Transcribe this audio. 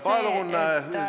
Palun!